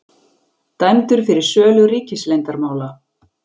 Dæmdur fyrir sölu ríkisleyndarmála